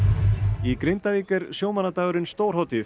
í Grindavík er sjómannadagurinn stórhátíð